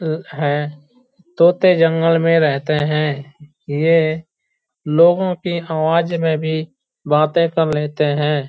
है। तोते जंगल मे रहते हैं | ये लोगों की आवाज़ मे भी बातें कर लेते हैं।